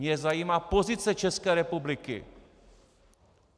Mě zajímá pozice České republiky.